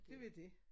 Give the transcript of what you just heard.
Det var dét